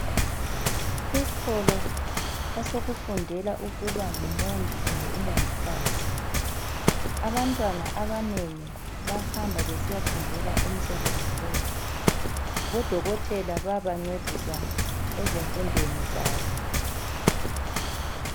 Isikolo esokufundela ukuba ngumongi kumbe umongikazi. Abantwana abanengi bahamba besiyafundela umsebenzi lo. Odokotela bayabancedisa ezifundweni zabo.